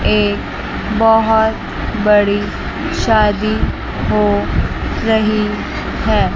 एक बहुत बड़ी शादी हो रही है।